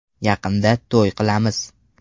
Yaqinda to‘y qilamiz.